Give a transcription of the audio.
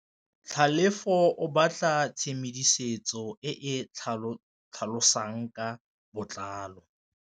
Tlhalefô o batla tshedimosetsô e e tlhalosang ka botlalô.